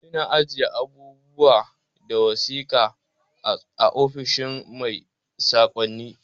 Ana ajiye abubuwa da wasiƙa a ofishin kai sakonni